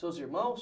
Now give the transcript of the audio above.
Seus irmãos?